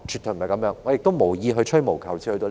我也無意吹毛求疵至這地步。